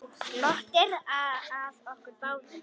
Glottir að okkur báðum.